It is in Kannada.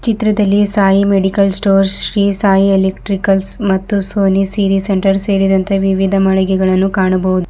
ಈ ಚಿತ್ರದಲ್ಲಿ Sai medical stores Shri Sai electricals ಮತ್ತು ಸೋನಿ ಸೀರಿ ಸೆಂಟರ್ ಸೇರಿದಂತೆ ವಿವಿಧ ಮಳಿಗೆಗಳನ್ನು ಕಾಣಬಹುದು.